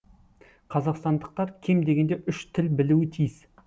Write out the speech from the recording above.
қазақстандықтар кем дегенде үш тіл білуі тиіс